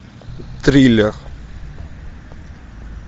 триллер